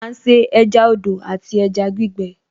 À ń se ẹja odò àti ẹja gbígbẹ